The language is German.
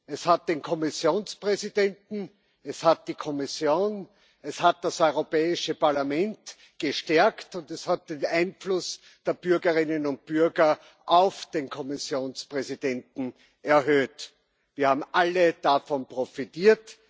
Es hat den Kommissionspräsidenten, es hat die Kommission, es hat das Europäische Parlament gestärkt, und es hat den Einfluss der Bürgerinnen und Bürger auf den Kommissionspräsidenten erhöht. Wir haben alle davon profitiert.